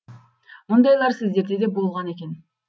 мұндайлар сіздерде де болған екен